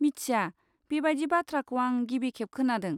मिथिया, बेबायदि बाथ्राखौ आं गिबिखेब खोनादों।